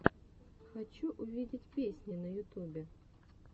хочу увидеть песни на ютубе